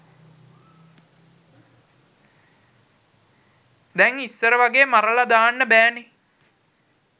දැං ඉස්සර වගේ මරල දාන්න බැහැනේ